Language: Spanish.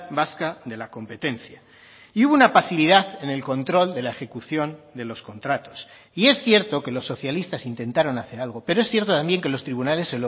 vasca de la competencia y hubo una pasividad en el control de la ejecución de los contratos y es cierto que los socialistas intentaron hacer algo pero es cierto también que los tribunales